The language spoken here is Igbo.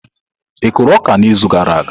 Ị kụrụ ọka n'izu gara aga?